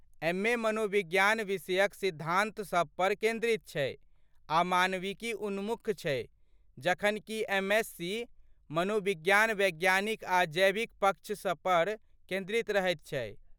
MA. मनोविज्ञान विषयक सिद्धान्तसभ पर केन्द्रित छै आ मानविकी उन्मुख छै जखनकि एम.एससी. मनोविज्ञान वैज्ञानिक आ जैविक पक्ष सभ पर केन्द्रित रहैत छै।